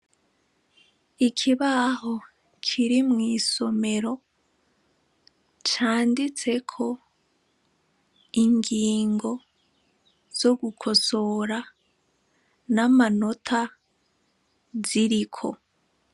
Ikibaho kiri mw'isomero canditseko ingingo zo gukosora n'amanota ziriko.